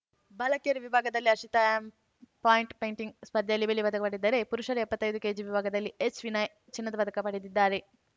ಬಾಲಕಿಯರ ವಿಭಾಗದಲ್ಲಿ Harshita M point fighting ಸ್ಪರ್ಧೆಯಲ್ಲಿ ಬೆಳ್ಳಿ ಪದಕ ಪಡೆದರೆ ಪುರುಷರ ಎಪ್ಪತ್ತೈದು ಕೆಜಿ ವಿಭಾಗದಲ್ಲಿ ಎಚ್‌ವಿನಯ್‌ ಚಿನ್ನದ ಪದಕ ಪಡೆದಿದ್ದಾರೆ